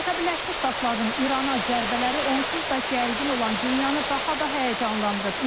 Amerika Birləşmiş Ştatlarının İrana zərbələri onsuz da gərgin olan dünyanı daha da həyəcanlandırıb.